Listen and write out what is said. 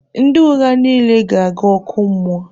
Ndị ụgha niile ga-aga ọkụ mmụọ.